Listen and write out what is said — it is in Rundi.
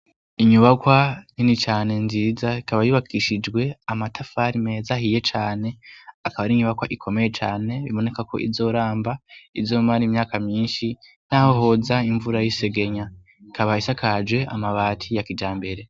Inyubakwa nini cane nziza ikaba yubakishijwe amatafari meza ahiye cane. Akaba ari inyubakwa ikomeye cane, biboneka ko izoramba izomara imyaka myinshi naho hoza imvura y'isegenya. Ikaba isakaje amabati ya kijambere.